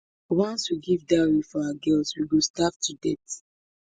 once we give dowry for our girls we go starve to death